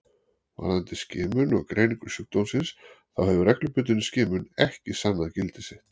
Varðandi skimun og greiningu sjúkdómsins þá hefur reglubundin skimun ekki sannað gildi sitt.